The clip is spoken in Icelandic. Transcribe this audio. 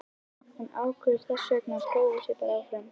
Hún ákveður þessvegna að prófa sig bara áfram.